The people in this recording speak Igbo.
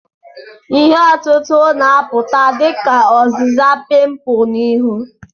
Ihe otutu na-apụta dị ka ọzịza pimpu na ihu.